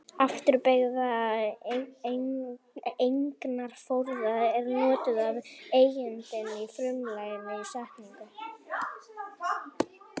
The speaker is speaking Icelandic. Afturbeygða eignarfornafnið er notað ef eigandinn er frumlagið í setningu.